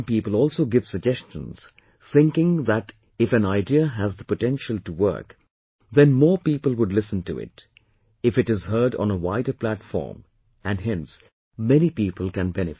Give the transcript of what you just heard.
Some people also give suggestions thinking that if an idea has the potential to work then more people would listen to it if it is heard on a wider platform and hence many people can benefit